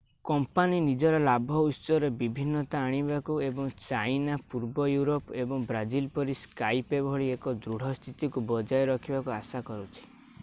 company ନିଜର ଲାଭ ଉତ୍ସରେ ବିଭିନ୍ନତା ଆଣିବାକୁ ଏବଂ ଚାଇନା ପୂର୍ବ ୟୁରୋପ ଏବଂ ବ୍ରାଜିଲ ପରି ସ୍କାଇପେ ଭଳି ଏକ ଦୃଢ ସ୍ଥିତିକୁ ବଜାୟ ରଖିବାକୁ ଆଶା କରୁଛି